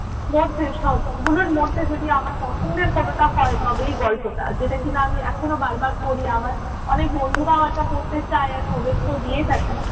মধ্যে সবগুলোর মধ্যে যদি আমার পছন্দের কোনটা হয় তবে এই গল্পটা। যেটা কিনা আমি এখনো বারবার পড়ি, আমার অনেক বন্ধুরাও এটা পড়তে চায়. আমি ওদেরকেও দিয়ে থাকি।